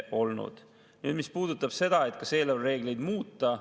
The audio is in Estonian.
Nüüd, mis puudutab seda, kas eelarvereegleid muuta.